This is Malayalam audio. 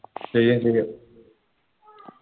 ചെയ്യും ചെയ്യും